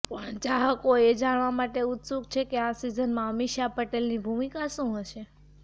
પણ ચાહકો એ જાણવા માટે ઉત્સુક છે કે આ સીઝનમાં અમીષા પટેલની ભૂમિકા શું હશે